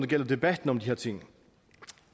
gælder debatten om de her ting